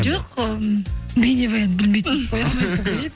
жоқ м бейнебаянды білмей түсіріп